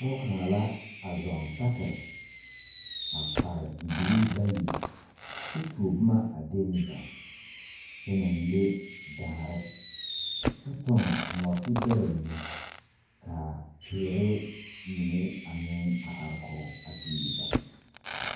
Poɔ kang la a zung sakiri a kpare bibilii bayi kye tuo buma a dengli bare kye nang le daare kye tung noɔti bera mene kaa teere mene meng arẽ kɔg a kyuli ba.